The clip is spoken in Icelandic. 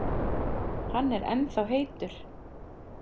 Hann er ennþá heitur.